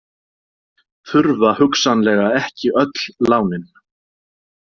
Þurfa hugsanlega ekki öll lánin